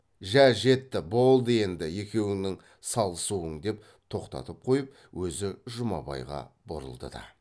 жә жетті болды енді екеуіңнің салысуың деп тоқтатып қойып өзі жұмабайға бұрылды да